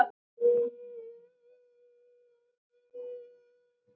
Því geta þeir að stóru leyti þakkað einum besta knattspyrnumanni í sögu þjóðarinnar.